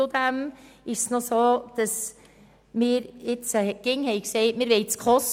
Zudem haben wir bisher immer gesagt, die SKOS-Richtlinien einhalten zu wollen.